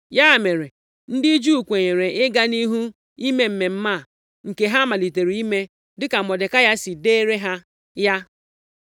Ya mere, ndị Juu kwenyere ịga nʼihu ime mmemme a nke ha malitere ime, dịka Mọdekai si deere ha ya,